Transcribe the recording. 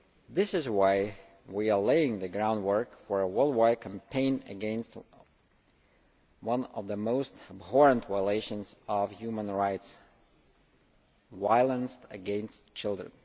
This is why we are laying the groundwork for a worldwide campaign against one of the most abhorrent violations of human rights violence against children.